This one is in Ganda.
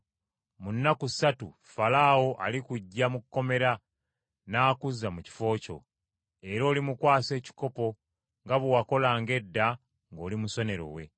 mu nnaku ssatu Falaawo alikuggya mu kkomera n’akuzza mu kifo kyo, era olimukwasa ekikopo nga bwe wakolanga edda ng’oli musenero we.